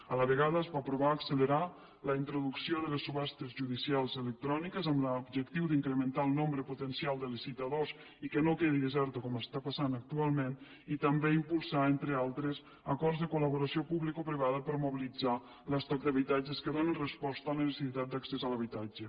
a la vegada es va aprovar accelerar la introducció de les subhastes judicials electròniques amb l’objectiu d’incrementar el nombre potencial de licitadors i que no quedi deserta com està passant actualment i també impulsar entre altres acords de col·laboració publicoprivada per mobilitzar l’estoc d’habitatges que donen resposta a la necessitat d’accés a l’habitatge